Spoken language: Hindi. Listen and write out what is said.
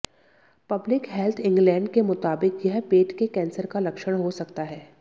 पब्लिक हेल्थ इंग्लैंड के मुताबिक यह पेट के कैंसर का लक्षण हो सकता है